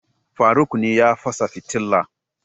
faruk ne ya fasa fitila